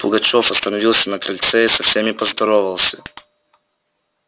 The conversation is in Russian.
пугачёв остановился на крыльце и со всеми поздоровался